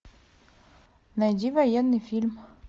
найди военный фильм